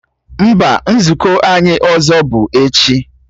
Mba, nzukọ anyị ọzọ bụ echi